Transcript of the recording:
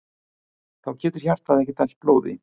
Þá getur hjartað ekki dælt blóði.